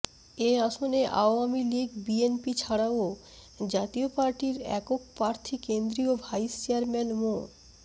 এ আসনে Awami League BNP ছাড়াও জাতীয় পার্টির একক প্রার্থী কেন্দ্রীয় ভাইস চেয়ারম্যান মো